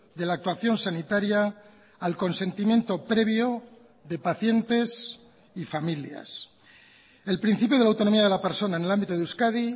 de la actuación sanitaria al consentimiento previo de pacientes y familias el principio de la autonomía de la persona en el ámbito de euskadi